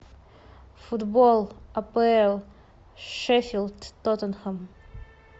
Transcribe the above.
футбол апл шеффилд тоттенхэм